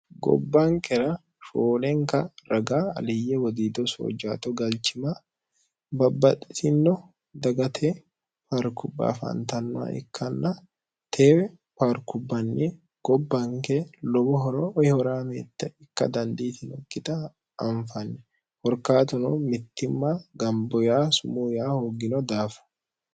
gobbanqera shoolenka raga aliyye wodiido soojjaato galchima babbaxitino dagate parkubaafantanno ikkanna teewe paarkubbanni gobbanke lobohoro yihoraameette ikka dandiitino kita anfanni horkaatuno mittimma gamboya sumu yaa hooggino daafa